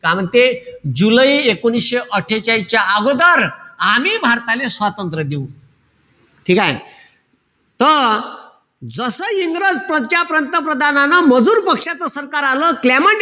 काय म्हणते? जुलै एकोणीशे अट्ठेचाळीसच्या अगोदर आम्ही भारताले स्वातंत्र्य देऊ. ठीकेय? त जसं इंग्रज पंतप्रधानान मजूर पक्षाचं सरकार आलं. क्लेमेंट,